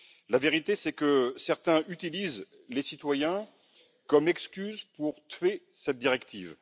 La vérité, c'est que certains utilisent les citoyens comme excuse pour tuer cette directive.